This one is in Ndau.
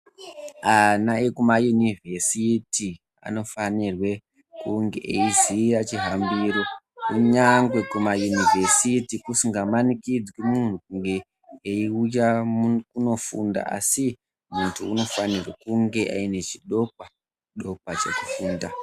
Ana ekumayunivhesiti anofanirwe kunge eiziya chihambiro. Kunyangwe kumayunovhesiti kusinga manikidzwi muntu kunge eiuya kunofunda. Asi muntu unofanirwe kunge aine chidokwa-dokwa chekufunda.